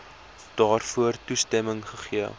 daarvoor toestemming gegee